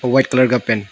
white colour का pant --